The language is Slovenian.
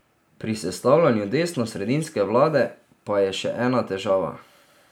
Pri sestavljanju desnosredinske vlade pa je še ena težava.